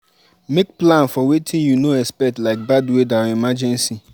Make plan for wetin you no expect like bad weather or emergency